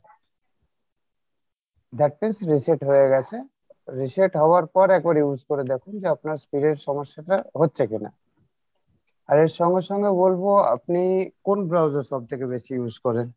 that means reset হয়ে গেছে reset হওয়ার পর এরপর use করে দেখুন যে আপনার speed এর সমস্যাটা হচ্ছে কিনা আবার সঙ্গে সঙ্গে বলবো আপনি কোন browser সব থেকে বেশি use করেন?